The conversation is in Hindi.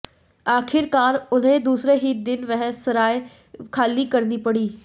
आखिरकार उन्हें दूसरे ही दिन वह सराय खाली करनी पड़ी